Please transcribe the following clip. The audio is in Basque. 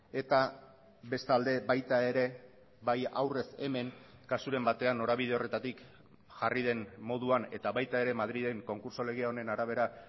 eta bestalde baita ere bai aurrez hemen kasuren batean norabide horretatik jarri den moduan eta baita ere madrilen konkurtso lege honen arabera